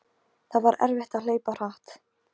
Það var erfitt að hlaupa hratt.